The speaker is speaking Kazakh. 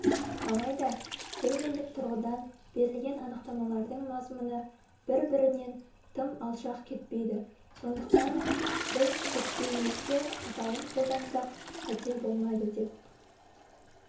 алайда терминдік тұрғыдан берілген анықтамалардың мазмұны бір-бірінен тым алшақ кетпейді сондықтан біз зерттеуімізде атауын қолдансақ қате болмайды деп